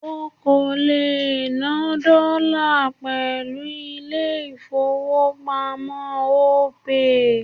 O kò lè ná dọ́là pẹ̀lú ilé ìfowópamọ́ Opay.